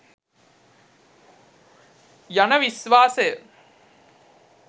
යන විශ්වාසය